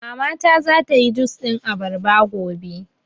Mama ta za ta yi jus ɗin abarba gobe